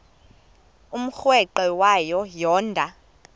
umrweqe wayo yoonda